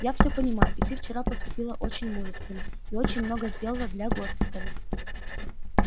я всё понимаю и ты вчера поступила очень мужественно и очень много сделала для госпиталя